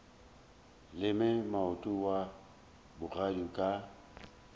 leme moota wa bogadi ka